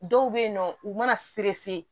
Dɔw bɛ yen nɔ u mana